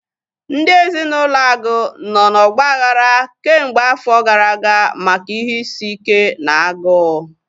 Ndị ezinaụlọ Agu nọ na ọgbaghara kemgbe afọ gara aga maka ihe isi ike na agụụ